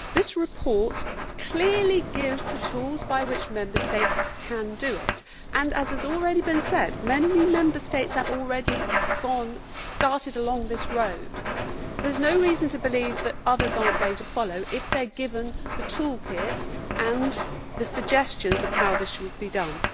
This report clearly gives the tools by which Member States can do it and, as has already been said, many Member States have already started along this road, so there is no reason to believe that others are not going to follow if they are given the toolkit and the suggestions of how this should be done.